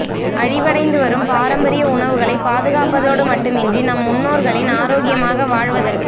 அழிவடைந்துவரும் பாரம்பரிய உணவுகளை பாதுகாப்பதோடு மட்டுமன்றி நம் முன்னோர்களின் ஆரோக்கிமாக வாழ்வதற்கு